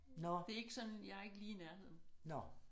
Nåh nåh